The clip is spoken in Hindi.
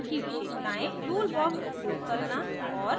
document की विशेषतायें tool box उपयोग करना और